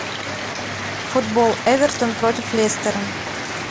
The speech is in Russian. футбол эвертон против лестера